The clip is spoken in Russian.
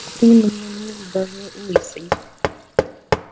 ты мне мил даже лысый